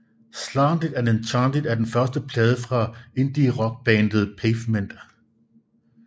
Slanted and Enchanted er den første plade fra indierockbandet Pavement